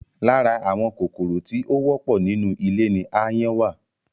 Lára àwọn kòkòrò tí ó wọ́pọ̀ nínú ilé ni ááyán wà